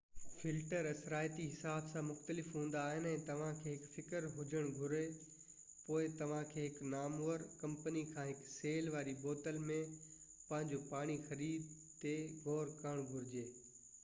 filter اثرائتي حساب سان مختلف هوندا آهن ۽ توهان کي هڪ فڪر هجڻ گهري پوءِ توهان کي هڪ نامور ڪمپني کان هڪ سيل واري بوتل ۾ پنهنجو پاڻي خريد تي غور ڪرڻ گهرجي